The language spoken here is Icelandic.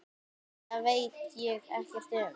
Það veit ég ekkert um.